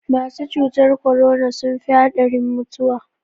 Masu cutar korona sun fi haɗarin mutuwa.